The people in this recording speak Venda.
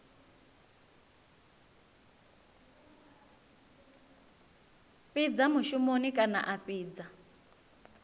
fhidza mushumoni kana a fhidza